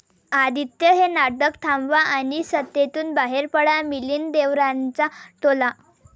आदित्य, हे नाटक थांबवा आणि सत्तेतून बाहेर पडा, मिलिंद देवरांचा टोला